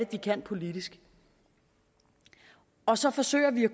de kan politisk og så forsøger vi at